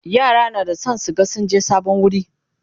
yara na da San su ga sun je sabon wuri